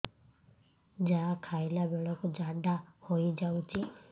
ଯାହା ଖାଇଲା ବେଳକୁ ଝାଡ଼ା ହୋଇ ଯାଉଛି